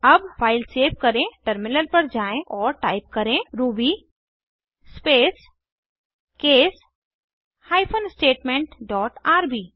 अब file save करें terminal पर जाएँ और टाइप करें ruby space case hyphen statement dot RB